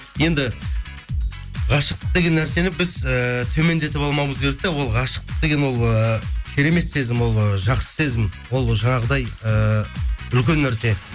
енді ғашықтық деген нәрсені біз ііі төмендетіп алмауымыз керек те ол ғашықтық деген ол ыыы керемет сезім ол жақсы сезім ол жаңағындай ыыы үлкен нәрсе